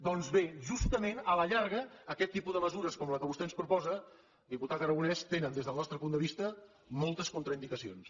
doncs bé justament a la llarga aquest tipus de mesures com la que vostè ens proposa diputat aragonès té des del nostre punt de vista moltes contraindicacions